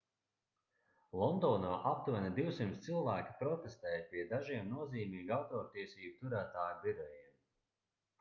londonā aptuveni 200 cilvēki protestēja pie dažiem nozīmīgu autortiesību turētāju birojiem